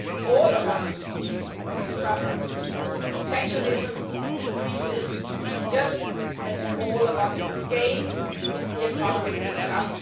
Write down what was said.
All of us will suffer if protectionism increases, just as all of us will gain if the economy picks up.